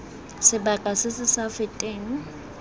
sebaka se se sa feteng